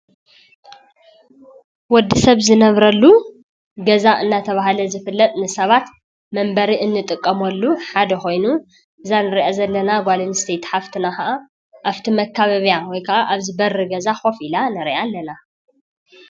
ወዲ ሰብ ዝነብረሉ ገዛ እናተበሃለ ዝፍለጥ ንሰባት መንበሪ እንጥቀመሉ ሓደ ኮይኑ እዛ እንሪአ ዘለና ጓል አንስተይቲ ሓፍትና ከዓ አብ መካበብያ ወይ ካዓ አብቲ በሪ ገዛ ከፍ ኢላ እሪአ አለና ፡፡